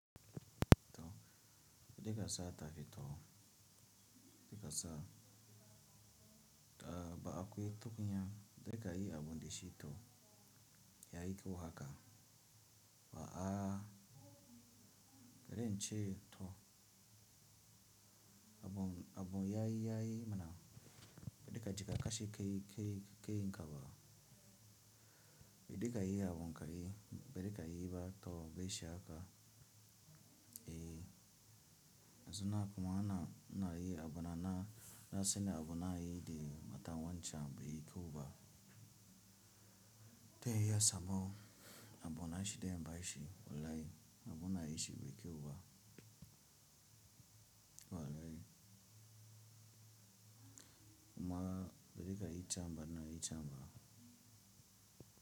To be dikasa tafi to be dikasa ɗa ba akwe tukunya be dikayi abun de shi toh yayi kyau haka ba, a, rence toh abun abun yayi yayi mana be dikajika kashi kai kai kai kaba be dikayi abun kai be dikayi ba to be shi haka eh zona kuma ana na yi abana na na sena abunayi de mata wanchan be yi kiwu ba te yi ya sambo abunayi shi de yamba shi olai abunayi shi be kiwu ba o alai kuma be dikayi chamba na yi chamba.